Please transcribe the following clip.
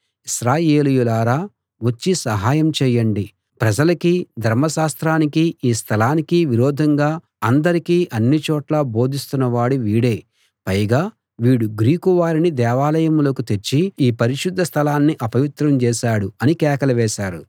ఇశ్రాయేలీయులారా వచ్చి సహాయం చేయండి ప్రజలకీ ధర్మశాస్త్రానికీ ఈ స్థలానికీ విరోధంగా అందరికీ అన్నిచోట్లా బోధిస్తున్నవాడు వీడే పైగా వీడు గ్రీకు వారిని దేవాలయంలోకి తెచ్చి ఈ పరిశుద్ధ స్థలాన్ని అపవిత్రం చేశాడు అని కేకలు వేశారు